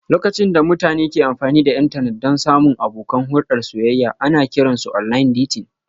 Lokacin da mutane ke amfani da intanet don samun abokan hulɗar soyayya ana kiran su online dating